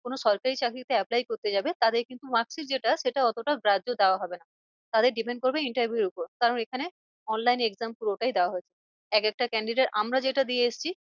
কোনো সরকারি চাকরিতে apply করতে যাবে তাদের কিন্তু marksheet যেটা সেটা অতটা গ্রাহ্য দেওয়া হবে না। তাদের depend করবে interview র ওপর কারণ এখানে online exam পুরোটাই দেওয়া হয়েছে। এক একটা candidate আমরা যেটা দিয়ে এসছি